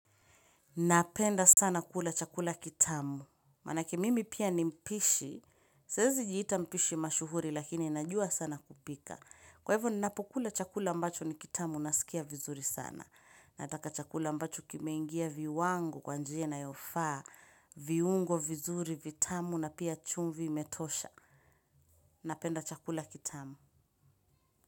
Napenda sana kula chakula kitamu. Manake mimi pia ni mpishi. Siezi jiita mpishi mashuhuri lakini najua sana kupika. Kwa hivyo ninapokula chakula ambacho ni kitamu naskia vizuri sana. Nataka chakula ambacho kimeingia viwango kwa njia inayofaa viungo vizuri vitamu na pia chumvi imetosha. Napenda chakula kitamu.